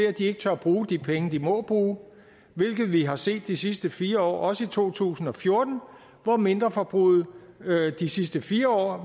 at de ikke tør bruge de penge de må bruge hvilket vi har set de sidste fire år også i to tusind og fjorten hvor mindreforbruget de sidste fire år